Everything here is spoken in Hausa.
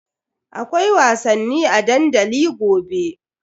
Akwai wasanni a dandali gobe.